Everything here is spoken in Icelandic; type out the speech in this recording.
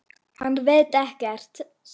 Hann veit ekkert.